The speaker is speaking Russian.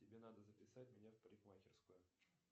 тебе надо записать меня в парикмахерскую